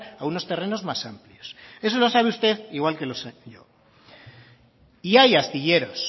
a unos terrenos más amplios eso lo sabe usted igual que lo sé yo y hay astilleros